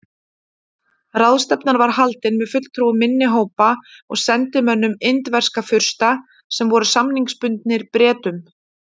Ráðstefnan var haldin með fulltrúum minni hópa og sendimönnum indverskra fursta sem voru samningsbundnir Bretum.